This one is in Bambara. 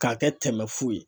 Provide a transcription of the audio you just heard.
K'a kɛ tɛmɛ fu ye.